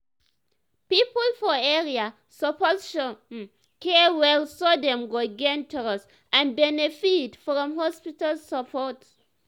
people for area suppose show um care well so dem go gain trust and benefit from health support. um